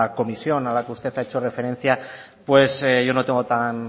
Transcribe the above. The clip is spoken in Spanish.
comisión a la que usted ha hecho referencia pues yo no tengo